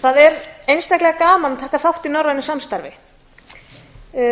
það er einstaklega gaman að taka þátt í norrænu samstarfi þarna